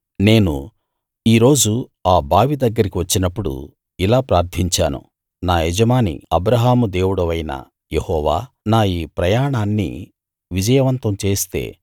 నేను ఈ రోజు ఆ బావి దగ్గరికి వచ్చినప్పుడు ఇలా ప్రార్థించాను నా యజమాని అబ్రాహాము దేవుడవైన యెహోవా నా ఈ ప్రయాణాన్ని విజయవంతం చేస్తే